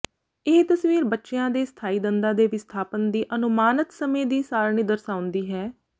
ਇਹ ਤਸਵੀਰ ਬੱਚਿਆਂ ਦੇ ਸਥਾਈ ਦੰਦਾਂ ਦੇ ਵਿਸਥਾਪਨ ਦੀ ਅਨੁਮਾਨਤ ਸਮੇਂ ਦੀ ਸਾਰਣੀ ਦਰਸਾਉਂਦੀ ਹੈ